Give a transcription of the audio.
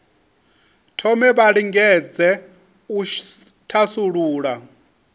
thome vha lingedze u thasulula